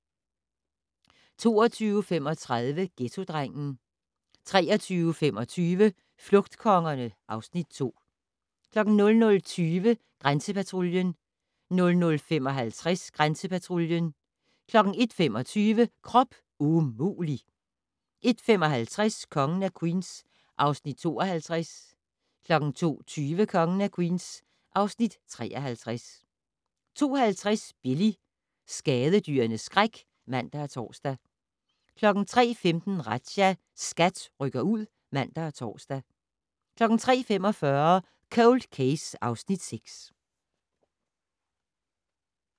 22:35: Ghettodrengen 23:25: Flugtkongerne (Afs. 2) 00:20: Grænsepatruljen 00:55: Grænsepatruljen 01:25: Krop umulig! 01:55: Kongen af Queens (Afs. 52) 02:20: Kongen af Queens (Afs. 53) 02:50: Billy - skadedyrenes skræk (man og tor) 03:15: Razzia - SKAT rykker ud (man og tor) 03:45: Cold Case (Afs. 6)